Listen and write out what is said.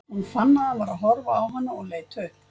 Hún fann að hann var að horfa á hana og leit upp.